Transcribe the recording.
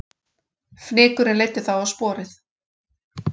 Fnykurinn leiddi þá á sporið